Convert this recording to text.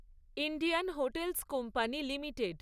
Indian hotels company limited